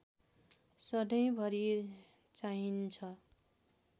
सधैँ भरि चाहिन्छ